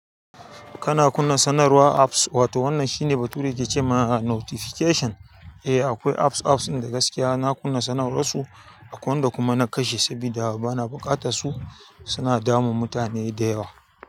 Kana kunna sanarwar apps, wato wannan shine bature dake cem notification? Eh, akwai apps, apps ɗin da gaskiya na kunna sanarwar su, akwai wanda kuma na kashe saboda bana buƙata su. Suna damun mutane da yawa.